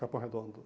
Capão Redondo.